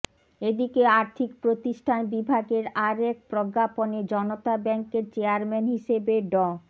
এদিকে আর্থিক প্রতিষ্ঠান বিভাগের আরেক প্রজ্ঞাপনে জনতা ব্যাংকের চেয়ারম্যান হিসেবে ড